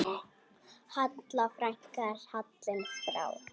Halla frænka er fallin frá.